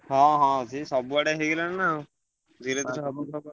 ହଁ ହଁ ସେ ସବୁଆଡେ ହେଇଗଲାଣି ନା ଆଉ।